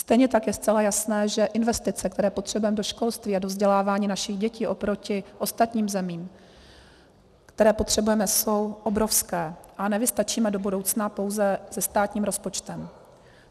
Stejně tak je zcela jasné, že investice, které potřebujeme do školství a do vzdělávání našich dětí oproti ostatním zemím, které potřebujeme, jsou obrovské a nevystačíme do budoucna pouze se státním rozpočtem.